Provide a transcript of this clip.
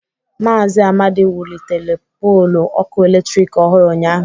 Mazị Amadi wulitere pọlu ọkụ eletrik ọhụrụ ụnyahụ.